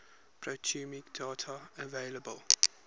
proteomic data available